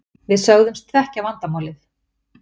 Við sögðumst þekkja vandamálið.